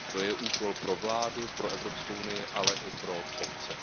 To je úkol pro vládu, pro Evropskou unii, ale i pro obce.